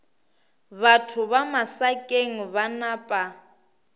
batho ba masakeng ba napa